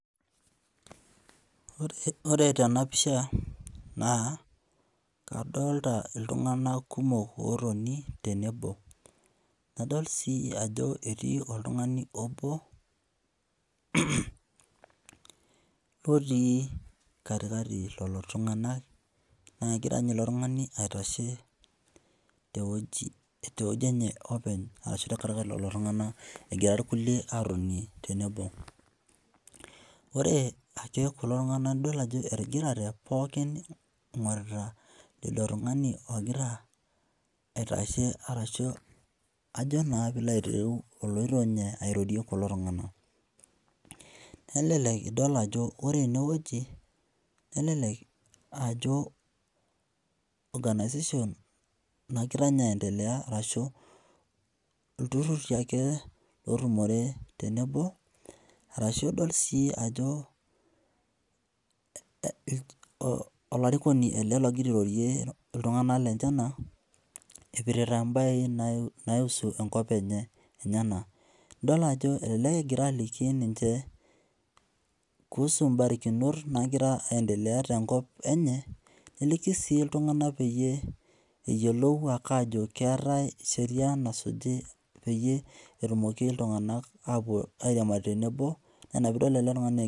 Ore tena pisha naa kadolita iltung'anak kumok ootoni tenebo. Nadol sii ajo etii oltung'ani obo lotii kati kati lelo tung'anak naa egira ninye ilo tung'ani aitashe tewueji enye openy te kati kati lelo tung'anak egira irkulie aatoni tenebo. Ore ake kulo tung'anak nidol ajo etigirate pookin ing'urita lido tung'ani ogira aitashe arashu ajo naa piilo aitereu oloito ninye airorie iltung'anak. Nelelek idol ajo ore enewueji nelelek ajo organization nagira ninye arashu ilturrurri ake lootumore tenebo arashu adol sii ajo olarikoni ele logira airorie iltung'anak lenyenak epirita embae naiusu enkop enye naa. Idol ajo elelek egira aliki ninche kuhusu barakinot naagira aendelea tenkop enye neliki sii iltung'anak peyie eyiolou ake aajo keetae sheria nasuji peyie etumoki iltung'anak airiamari tenebo naa ina piidol ele tung'ani egira